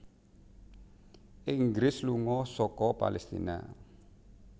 Inggris lunga saka Palestina